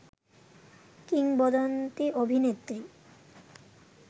কিংবদন্তি অভিনেত্রী